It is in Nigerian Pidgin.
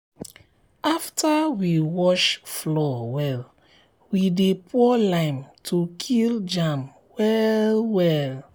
after we wash floor well we dey um pour lime to kill um germ well well.